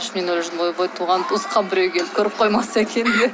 ішімнен ойлап жүрдім ойбой туған туысқан біреу келіп көріп қоймаса екен деп